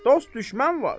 Dost düşmən var.